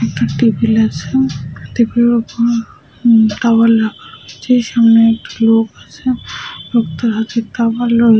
একটা টেবিল আছে টেবিল - এর ওপর উমম তাওয়াল রাখা আছে । সামনে একটা লোক আছে লোকটার হাতে তাওয়াল রয়েছে ।